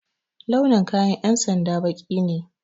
Launin kayan ƴan sanda baƙi ne